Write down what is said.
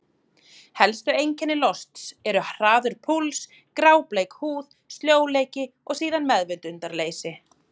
Helstu einkenni losts eru: hraður púls, grábleik húð, sljóleiki og síðan meðvitundarleysi.